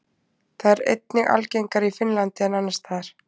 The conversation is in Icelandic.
Það er einnig algengara í Finnlandi en annars staðar.